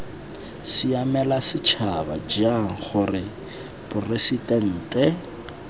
siamela setšhaba jang gore poresitente